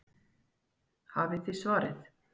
Hafið þið svarið?